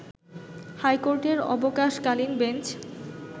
হাইকোর্টের অবকাশ-কালীন বেঞ্চ